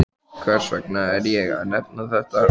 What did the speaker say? Hvers vegna er ég að nefna þetta?